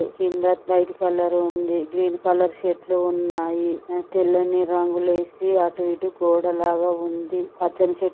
కింద white colour ఉంది.గ్రీన్ colour చెట్లు ఉన్నాయి. అ తెల్లని రంగులేసి అటు ఇటు గోడ లాగ ఉంది.